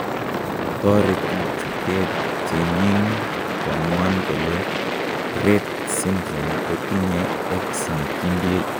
Toreti chutet cheng'ing koamuan kole Rett syndrome kotinye X nekindie.